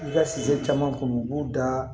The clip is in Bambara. I ka sɛ caman kun u b'u da